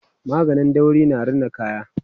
maganin dauri na Rina kaya